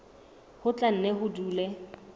ho tla nne ho dule